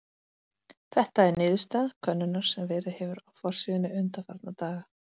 Þetta er niðurstaða könnunar sem verið hefur á forsíðunni undanfarna daga.